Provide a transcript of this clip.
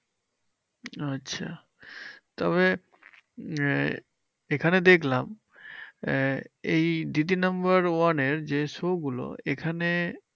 আচ্ছা তবে আহ এখানে দেখলাম আহ এই দিদি নাম্বার ওয়ানের যে show গুলো এখানে